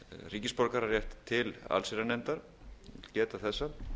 ríkisborgararétt til allsherjarnefndar ég vil geta þessa